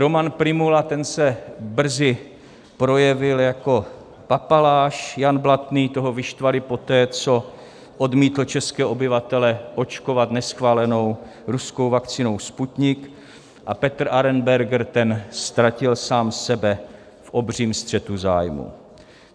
Roman Prymula, ten se brzy projevil jako papaláš, Jan Blatný, toho vyštvali poté, co odmítl české obyvatele očkovat neschválenou ruskou vakcínou Sputnik, a Petr Arenberger, ten ztratil sám sebe v obřím střetu zájmů.